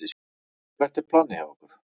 Hvert er planið hjá ykkur?